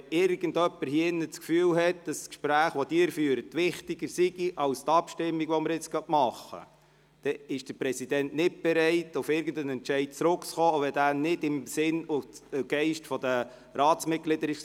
Wenn irgendjemand in diesem Saal das Gefühl hat, dass die Gespräche, die Sie führen, wichtiger sind als die Abstimmungen, die gerade stattfinden, dann ist der Präsident nicht bereit, auf irgendeinen Entscheid zurückzukommen, auch wenn dieser nicht im Sinn und Geist der Ratsmitglieder ist.